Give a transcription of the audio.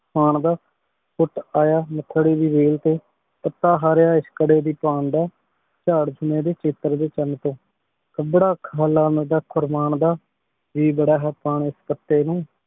ਹਾਂ ਦਾ ਕੁਟ ਆਯਾ ਨਾਖ੍ਰੀ ਦੀ ਵਾਲ ਤੇ ਅਤਾ ਹਰਯ ਇਸ਼ਕ਼ ਕਰੀ ਦੀ ਪਾਨ ਦਾ ਚਾਰ ਚਾਮੇਰੀ ਚੈਟਰ ਦੇ ਚਾਨ ਤੋਂ ਕਾਬਰਾ ਖਾਲਾਮ੍ਦਾ ਖੁਰਮਾਨ ਦਾ ਜੀ ਬਾਰਾ ਹੈ ਪਾਵੇਂ ਪਟੀ ਨੂ